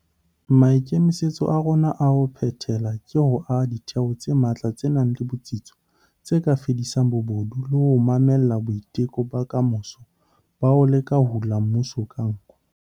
Maikemisetso a rona a ho phethela ke ho aha ditheo tse matla tse nang le botsitso tse ka fedisang bobodu le ho mamella boiteko ba kamoso ba ho leka ho hula mmuso ka nko.